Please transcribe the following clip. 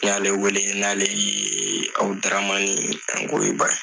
N y'ale wele n'ale ye ABUDARAMANI ANGOYIBA ye.